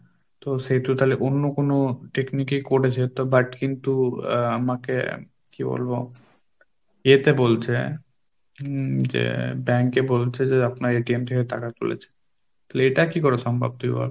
তো সেহেতু তাহলে অন্য কোন technique করেছে তো but কিন্তু আমাকে কি বলবো এতে বলছে উম এতে বলছে যে bank এ বলছে যে আপনার থেকে টাকা তুলেছে, তাহলে এটা কি করে সম্ভব তুই বল?